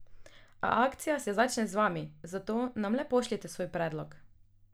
A akcija se začne z vami, zato nam le pošljite svoj predlog.